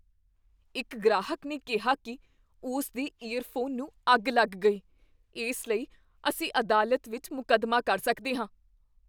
ਇੱਕ ਗ੍ਰਾਹਕ ਨੇ ਕਿਹਾ ਕੀ ਉਸ ਦੇ ਈਅਰਫੋਨ ਨੂੰ ਅੱਗ ਲੱਗ ਗਈ। ਇਸ ਲਈ ਅਸੀਂ ਅਦਾਲਤ ਵਿੱਚ ਮੁਕੱਦਮਾ ਕਰ ਸਕਦੇ ਹਾਂ।